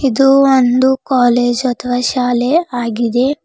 ಇದು ಒಂದು ಕಾಲೇಜ್ ಅಥವಾ ಶಾಲೆ ಆಗಿದೆ.